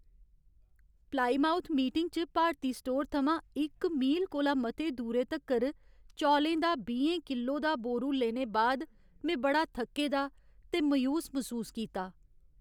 Plymouth Meeting च Bharti store थमां इक मील कोला मते दूरे तक्कर चौलें दा बीहें किल्लो दा बोरू लेने बाद में बड़ा थक्के दा ते मायूस मसूस कीता।